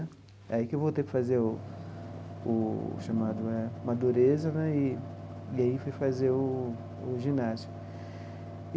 Aí que eu voltei para fazer o o chamado Madureza né, e e aí fui fazer o o ginásio.